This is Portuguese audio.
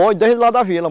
Foi, desde lá da vila.